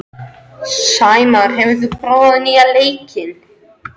Sæmar, hefur þú prófað nýja leikinn?